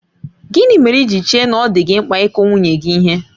Gịnị mere i ji chee na ọ dị gị mkpa ịkụ nwunye gị ihe?